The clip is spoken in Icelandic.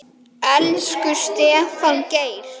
Elsku Stefán Geir.